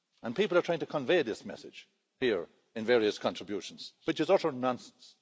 People are trying to convey this message here in various contributions, which is utter nonsense.